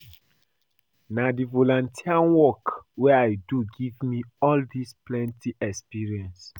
Na di volunteer work wey I do give me all dese plenty experience.